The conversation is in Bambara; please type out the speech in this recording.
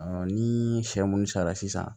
ni sɛ munnu sarara sisan